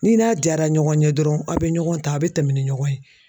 Ni n'a jara ɲɔgɔn ye dɔrɔn aw be ɲɔgɔn ta a be tɛmɛ ni ɲɔgɔn ye.